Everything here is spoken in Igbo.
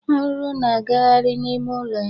Arụrụ na-aghari n'ime ụlọ ya.